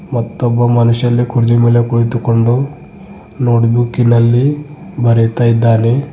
ಮತ್ತು ಒಬ್ಬ ಮನುಷ್ಯ ಇಲ್ಲಿ ಕುರ್ಜಿ ಮೇಲೆ ಕುಳಿತುಕೊಂಡು ನೋಟ್ ಬುಕ್ಕಿನಲ್ಲಿ ಬರೆತದ್ದಾನೆ.